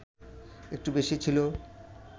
একটু বেশি ছিল